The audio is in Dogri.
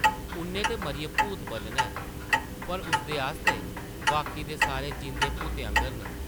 उʼन्नै ते मरियै भूत बनना ऐ पर उसदे आस्तै बाकी दे सारे जींदे भूतें आंगर न ।